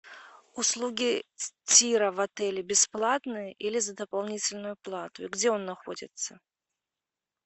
услуги тира в отеле бесплатны или за дополнительную плату и где он находится